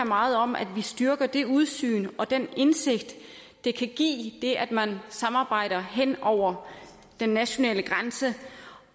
meget om at vi styrker det udsyn og den indsigt det kan give at man samarbejder hen over den nationale grænse